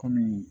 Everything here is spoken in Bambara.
Kɔmi